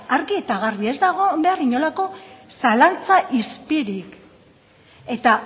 argi eta garbi ez da egon behar inolako zalantza izpirik eta